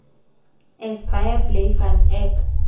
is baie bly want ek